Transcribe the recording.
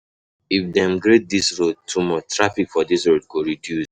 If dem dem grade dis road, too much traffic for dis road go reduce.